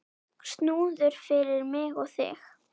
Snúður fyrir mig og þig.